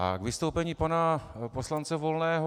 A k vystoupení pana poslance Volného.